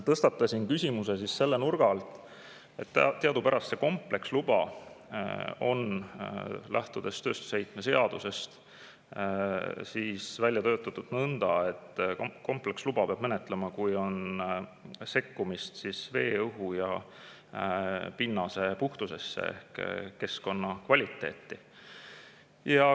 Tõstatasin küsimuse selle nurga alt, et teadupärast on kompleksluba lähtudes tööstusheite seadusest välja töötatud nõnda, et kompleksluba peab, kui on sekkumine vee, õhu ja pinnase puhtusesse ehk keskkonna kvaliteeti.